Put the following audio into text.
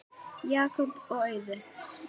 Jakob og Auður.